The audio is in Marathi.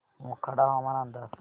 मोखाडा हवामान अंदाज